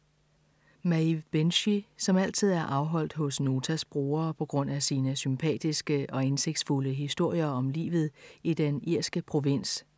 Maeve Binchy, som altid er afholdt hos Notas brugere på grund af sine sympatiske og indsigtsfulde historier om livet i den irske provins.